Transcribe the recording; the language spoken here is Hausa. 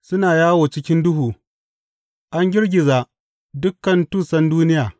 Suna yawo cikin duhu; an girgiza dukan tussan duniya.